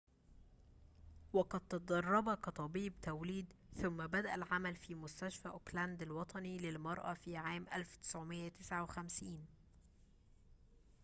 وقد تدرب كطبيب توليد ثم بدأ العمل في مستشفى أوكلاند الوطني للمرأة في عام 1959